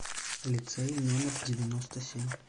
лицей номер девяносто семь